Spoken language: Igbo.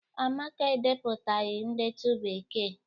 Amaka edepụtaghị ndetu Bekee.